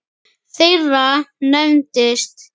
þeirra nefnist